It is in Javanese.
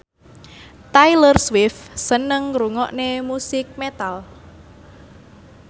Taylor Swift seneng ngrungokne musik metal